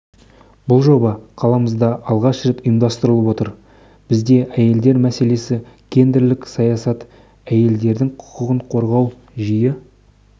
бұл жоба қаламызда алғаш рет ұйымдастырылып отыр бізде әйелдер мәселесі гендерлік саясат әйелдердің құқығын қорғау жиі